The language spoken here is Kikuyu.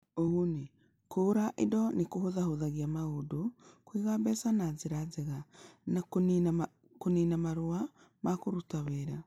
Ũguni: Kũgũra indo nĩ kũhũthahũthagia maũndũ, kũiga mbeca na njĩra njega, na kũniina marũa ma kũruta wĩra